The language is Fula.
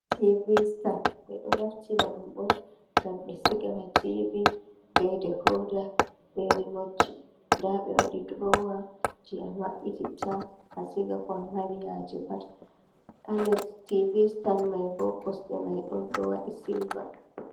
Tivi stan, ɓe ɗo naftira ɗum on ngam ɓe siga ha tivi, be dekooda, be rimotji. Nda be waɗi drowa, je a maɓɓititta a siga ko a mari haaje pat. Ha les tivi stan mai bo, kosɗe mai ɗon ɗo waɗi silva.